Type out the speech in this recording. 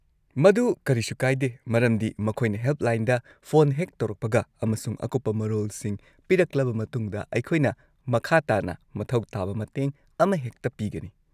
ꯃꯗꯨ ꯀꯔꯤꯁꯨ ꯀꯥꯏꯗꯦ ꯃꯔꯝꯗꯤ ꯃꯈꯣꯏꯅ ꯍꯦꯜꯞꯂꯥꯏꯟꯗ ꯐꯣꯟ ꯍꯦꯛ ꯇꯧꯔꯛꯄꯒ ꯑꯃꯁꯨꯡ ꯑꯀꯨꯞꯄ ꯃꯔꯣꯜꯁꯤꯡ ꯄꯤꯔꯛꯂꯕ ꯃꯇꯨꯡꯗ, ꯑꯩꯈꯣꯏꯅ ꯃꯈꯥ ꯇꯥꯅ ꯃꯊꯧ ꯇꯥꯕ ꯃꯇꯦꯡ ꯑꯃꯍꯦꯛꯇ ꯄꯤꯒꯅꯤ꯫